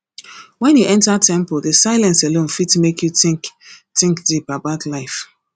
wen you enter temple the silence alone fit make you think think deep about life